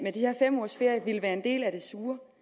her fem ugers ferie er en del af det sure